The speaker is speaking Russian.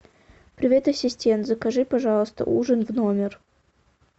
привет ассистент закажи пожалуйста ужин в номер